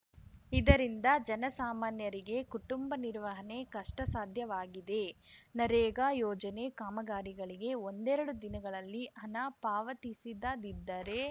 ಇದರಿಂದ ಜನಸಾಮಾನ್ಯರಿಗೆ ಕುಟುಂಬ ನಿರ್ವಹಣೆ ಕಷ್ಟಸಾಧ್ಯವಾಗಿದೆ ನರೇಗಾ ಯೋಜನೆ ಕಾಮಗಾರಿಗಳಿಗೆ ಒಂದೆರಡು ದಿನಗಳಲ್ಲಿ ಹಣ ಪಾವತಿಸದಿದ್ದರೆ